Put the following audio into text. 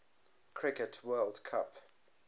cricket world cup